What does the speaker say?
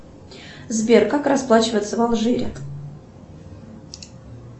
сбер как расплачиваться в алжире